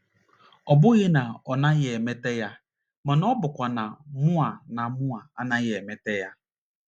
Ọ bụghị na ọ naghị emeta ya ma ọ bụkwanụ na mụnwa na mụnwa anaghị emeta ya.